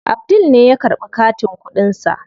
Abdul ne ya karɓi katin kuɗin sa.